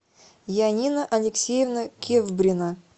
янина алексеевна кевбрина